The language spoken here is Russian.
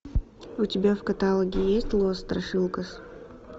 у тебя в каталоге есть лос страшилкас